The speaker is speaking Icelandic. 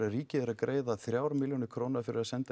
ríkið er að greiða þrjár milljónir króna fyrir að senda